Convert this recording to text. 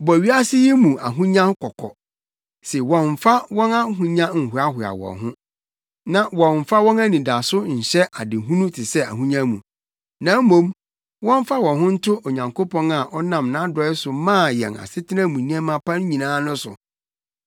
Bɔ wiase yi mu ahonyafo kɔkɔ se wɔmmfa wɔn ahonya nhoahoa wɔn ho, na wɔmmfa wɔn anidaso nso nhyɛ adehunu te sɛ ahonya mu, na mmom wɔmfa wɔn ho nto Onyankopɔn a ɔnam nʼadɔe so maa yɛn asetena mu nneɛma pa nyinaa no so.